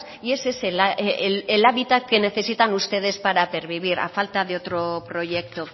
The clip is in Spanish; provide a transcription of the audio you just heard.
y es ese el hábitat que necesitan ustedes para pervivir a falta de otro proyecto